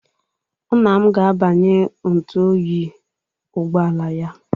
Nna m ga-agbanye ntụ oyi ụgbọala ya.